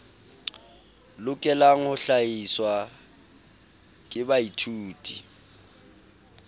lokelang ho hlahiswa ke baithuti